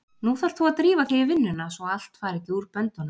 Nú þarft þú að drífa þig í vinnuna svo allt fari ekki úr böndunum!